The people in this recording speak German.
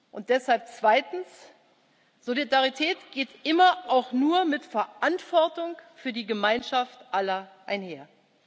Und deshalb zweitens Solidarität geht immer auch nur mit Verantwortung für die Gemeinschaft aller einher.